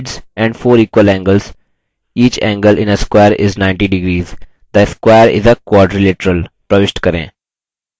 a square has four equal sides and four equal angles each angle in a square is ninety degrees